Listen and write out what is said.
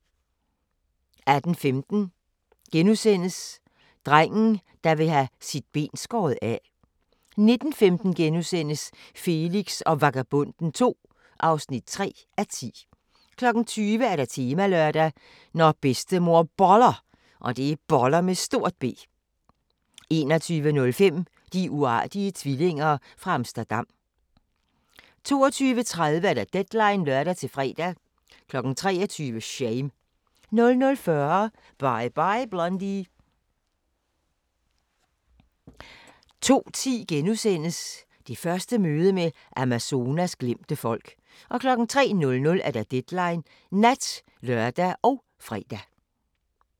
18:15: Drengen, der vil have sit ben skåret af * 19:15: Felix og Vagabonden II (3:10)* 20:00: Temalørdag: Når bedstemor Boller 21:05: De uartige tvillinger fra Amsterdam 22:30: Deadline (lør-fre) 23:00: Shame 00:40: Bye, Bye Blondie 02:10: Det første møde med Amazonas glemte folk * 03:00: Deadline Nat (lør og fre)